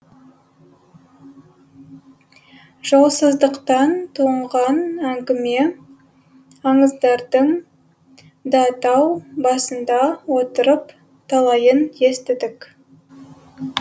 жолсыздықтан туған әңгіме аңыздардың да тау басында отырып талайын естідік